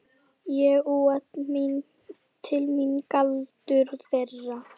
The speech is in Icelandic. Ég úa til mín galdur þeirra.